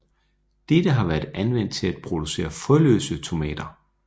Dette har været anvendt til at producere frøløse tomater